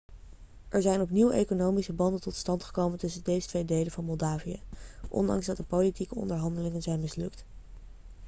er zijn opnieuw economische banden tot stand gekomen tussen deze twee delen van moldavië ondanks dat de politieke onderhandelingen zijn mislukt